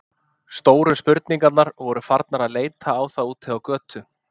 Stóru spurningarnar voru farnar að leita á það úti á götu.